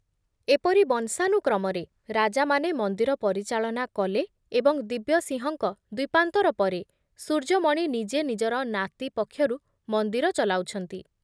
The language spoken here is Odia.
ଏପରି ବଂଶାନୁକ୍ରମରେ ରାଜାମାନେ ମନ୍ଦିର ପରିଚାଳନା କଲେ ଏବଂ ଦିବ୍ୟସିଂହଙ୍କ ଦ୍ବୀପାନ୍ତର ପରେ ସୂର୍ଯ୍ୟମଣି ନିଜେ ନିଜର ନାତି ପକ୍ଷରୁ ମନ୍ଦିର ଚଲାଉଛନ୍ତି ।